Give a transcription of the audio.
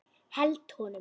Held honum.